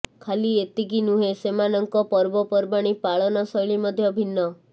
ଖାଲି ଏତିକି ନୁହେ ସେମାନଙ୍କ ପର୍ବପର୍ବାଣୀ ପାଳନ ଶୈଳୀ ମଧ୍ୟ ଭିନ୍ନ